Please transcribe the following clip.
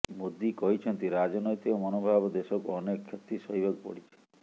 ମୋଦି କହିଛନ୍ତି ରାଜନୈତିକ ମନୋଭାବ ଦେଶକୁ ଅନେକ କ୍ଷତି ସହିବାକୁ ପଡ଼ିଛି